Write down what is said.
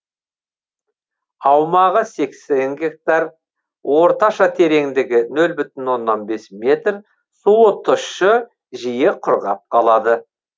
аумағы сексен гектар орташа тереңдігі нөл бүтін оннан бес метр суы тұщы жиі құрғап қалады